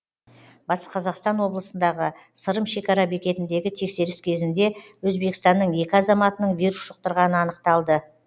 батыс қазақстан облысындағы сырым шекара бекетіндегі тексеріс кезінде өзбекстанның екі азаматының вирус жұқтырғаны анықталды